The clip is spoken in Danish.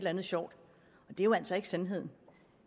andet sjovt det er jo altså ikke sandheden